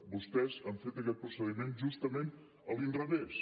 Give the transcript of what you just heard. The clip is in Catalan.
vostès han fet aquest procediment justament a l’inrevés